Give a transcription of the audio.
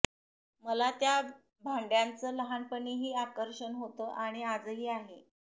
मला त्या भांड्याचं लहानपणीही आकर्षण होतं आणि आजही आहे